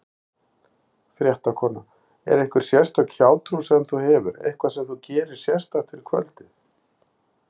Fréttakona: Er einhver sérstök hjátrú sem þú hefur, eitthvað sem þú gerir sérstakt fyrir kvöldið?